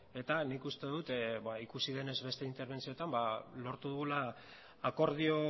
eta nik uste dut ikusi denez beste interbentzioetan lortu dugula akordio